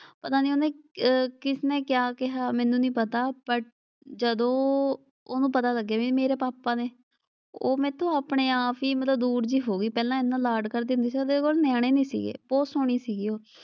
ਪਤਾ ਨਈਂ ਉਹਨੇ ਅਹ ਕਿਸ ਨੇ ਕਿਆ ਕਿਹਾ ਮੈਨੂੰ ਨਈਂ ਪਤਾ ਬਟ ਜਦੋਂ ਉਹਨੂੰ ਪਤਾ ਲੱਗਿਆ ਬਈ ਇਹ ਮੇਰੇ ਪਾਪਾ ਨੇ। ਉਹ ਮੈਥੋਂ ਆਪਣੇ ਆਪ ਈ ਮਤਲਬ ਦੂਰ ਜਿਹੀ ਹੋ ਗਈ, ਪਹਿਲਾਂ ਐਨਾ ਲਾਡ ਕਰਦੀ ਹੁੰਦੀ ਸੀ ਉਹਦੇ ਕੋਲ ਨਿਆਣੇ ਨੀ ਸੀਗੇ, ਬਹੁਤ ਸੋਹਣੀ ਸੀਗੀ ਉਹ।